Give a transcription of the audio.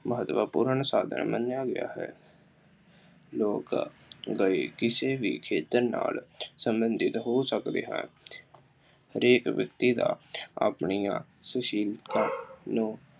ਮਹੱਤਵਪੂਰਨ ਸਾਧਨ ਮੰਨਿਆ ਗਿਆ ਹੈ੍। ਲੋਕ ਰਾਏ ਕਿਸੇ ਵੀ ਖੇਤਰ ਨਾਲ ਸੰਬੰਧਿਤ ਹੋ ਸਕਦੇ ਹਨ। ਹਰੇਕ ਵਿਅਕਤੀ ਦਾ ਆਪਣੀਆਂ ਸ਼ੁਸ਼ੀਲਤਾ ਨੂੰ